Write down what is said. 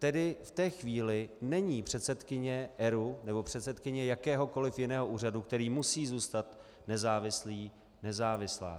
Tedy v té chvíli není předsedkyně ERÚ nebo předsedkyně jakéhokoliv jiného úřadu, který musí zůstat nezávislý, nezávislá.